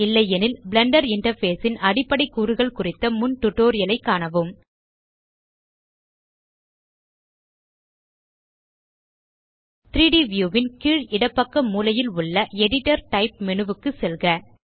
இல்லையெனில் Blender interface ன் அடிப்படை கூறுகள் குறித்த முன் டியூட்டோரியல் ஐ காணவும் 3ட் வியூ ன் கீழ் இடப்பக்க மூலையில் உள்ள எடிட்டர் டைப் மேனு க்கு செல்க